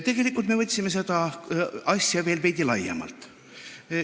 Tegelikult me võtsime seda asja veel veidi laiemalt.